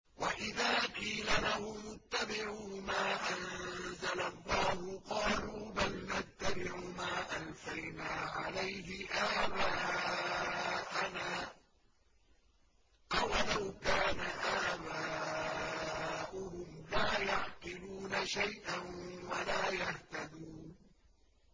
وَإِذَا قِيلَ لَهُمُ اتَّبِعُوا مَا أَنزَلَ اللَّهُ قَالُوا بَلْ نَتَّبِعُ مَا أَلْفَيْنَا عَلَيْهِ آبَاءَنَا ۗ أَوَلَوْ كَانَ آبَاؤُهُمْ لَا يَعْقِلُونَ شَيْئًا وَلَا يَهْتَدُونَ